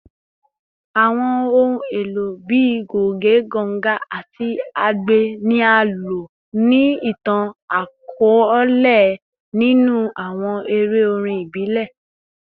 Awọn ohun elo bii goge, ganga, ati agbe ni a lo ni itan-akọọlẹ ninu awọn ere orin ibile